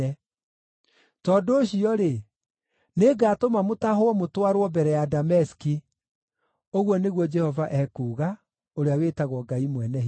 Tondũ ũcio-rĩ, nĩngatũma mũtahwo mũtwarwo mbere ya Dameski,” ũguo nĩguo Jehova ekuuga, ũrĩa wĩtagwo Ngai Mwene-Hinya-Wothe.